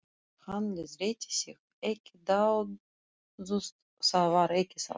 Hann leiðrétti sig: ekki dáðust, það var ekki það.